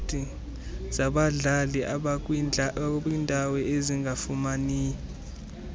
zabadlali abakwindawo ezingafumani